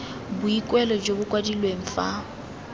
boikuelo jo bo kwadilweng fa